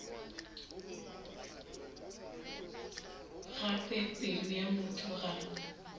gape pelo ya motho ga